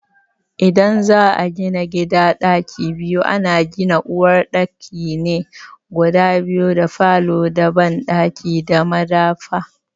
idan za a gina gida ɗaki biyu, ana gina uwar ɗaki ne guda biyu da falo da banɗaki da madafa.